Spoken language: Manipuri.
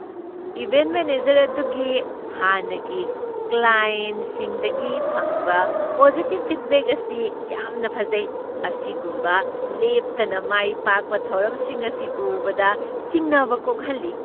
ꯏꯚꯦꯟꯠ ꯃꯦꯅꯦꯖꯔ ꯑꯗꯨꯒꯤ ꯍꯥꯟꯅꯒꯤ ꯀ꯭ꯂꯥꯏꯑꯦꯟꯠꯁꯤꯡꯗꯒꯤ ꯐꯪꯕ ꯄꯣꯖꯤꯇꯤꯕ ꯐꯤꯗꯕꯦꯛ ꯑꯁꯤ ꯌꯥꯝꯅ ꯐꯖꯩ꯫ ꯑꯁꯤꯒꯨꯝꯕ ꯂꯦꯞꯇꯅ ꯃꯥꯏ ꯄꯥꯛꯄ ꯊꯧꯔꯝꯁꯤꯡ ꯑꯁꯤ ꯎꯕꯗ ꯆꯤꯡꯅꯕ ꯀꯣꯛꯍꯜꯂꯤ꯫